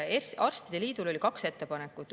Arstide liidul oli kaks ettepanekut.